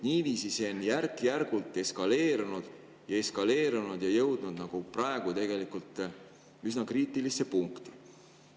Niiviisi on see järk-järgult eskaleerunud ja praegu on see jõudnud tegelikult üsna kriitilisse punkti.